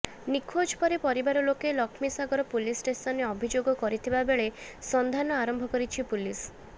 ନିଖୋଜ ପରେ ପରିବାର ଲୋକେ ଲକ୍ଷ୍ମୀସାଗର ପୁଲିସ ଷ୍ଟେସନରେ ଅଭିଯୋଗ କରିଥିବା ବେଳେ ସନ୍ଧାନ ଆରମ୍ଭ କରିଛି ପୁଲିସ